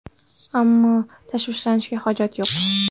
Ammo tashvishlanishga hojat yo‘q.